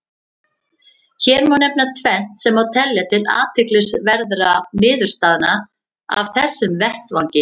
Hér má nefna tvennt sem má telja til athyglisverðra niðurstaðna af þessum vettvangi.